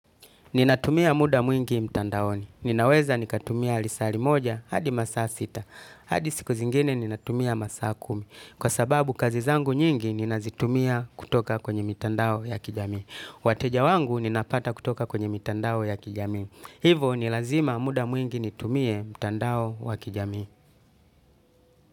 Ninatumia muda mwingi mtandaoni. Ninaweza nikatumia lisaa limoja hadi masaa sita. Hadi siku zingine ninatumia masaa kumi. Kwa sababu kazi zangu nyingi ninazitumia kutoka kwenye mitandao ya kijamii. Wateja wangu ninapata kutoka kwenye mitandao ya kijamii. Hivo ni lazima muda mwingi nitumie mtandao wa kijamii.